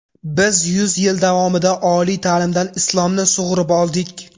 Biz yuz yil davomida oliy ta’limdan Islomni sug‘urib oldik.